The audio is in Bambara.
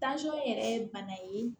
yɛrɛ ye bana ye